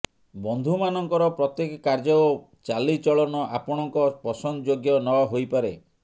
ବନ୍ଧୁ ମାନଙ୍କର ପ୍ରତ୍ୟେକ କାର୍ଯ୍ୟ ଓ ଚାଲିଚଳନ ଆପଣଙ୍କ ପସନ୍ଦଯୋଗ୍ୟ ନ ହୋଇପାରେ